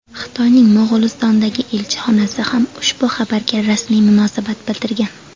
Xitoyning Mo‘g‘ulistondagi elchixonasi ham ushbu xabarga rasmiy munosabat bildirgan.